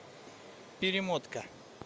перемотка